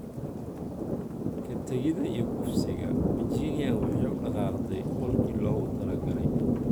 Ka tagida iyo kufsiga, Virginia waxay u dhaqaaqday qolkii loogu talagalay.